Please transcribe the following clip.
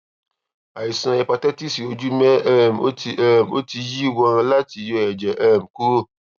àìsàn hépátíìsì ojú mé um o ti um o ti yí wán láti yọ èjè um kúrò